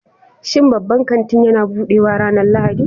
Shin babban kanti yana buɗewa ranar Lahadi?